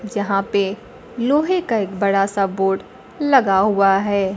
जहां पे लोहे का एक बड़ा सा बोर्ड लगा हुआ है।